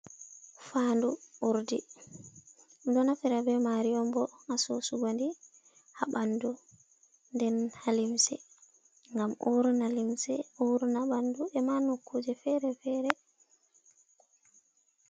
Fandu urdi, ɗum ɗo naftira be mari on bo ha sosugo ndi ha ɓandu, nden ha limse, ngam urna limse urna ɓandu e manukuje fere-fere.